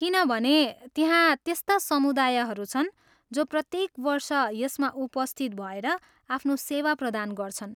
किनभने त्यहाँ त्यस्ता समुदायहरू छन् जो प्रत्येक वर्ष यसमा उपस्थित भएर आफ्नो सेवा प्रदान गर्छन्।